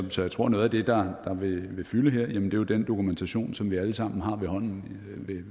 så jeg tror at noget af det der vil fylde den dokumentation som vi alle sammen har ved hånden